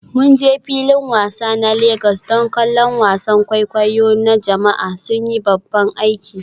Mun je filin wasa na Legas don kallon wasan kwaikwayo na jama'a, sun yi babban aiki.